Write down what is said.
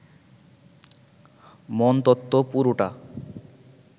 মনতত্ত্ব পুরোটা